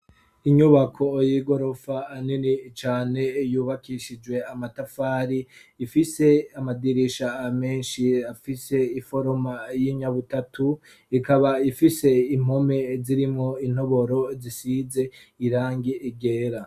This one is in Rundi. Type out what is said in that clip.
Inyubako y'igorofa nini cane, yubakishijwe amatafari; ifise amadirisha amenshi afise iforoma y'inyabutatu ikaba ifise impome zirimwo intoboro zisize irangi ryera.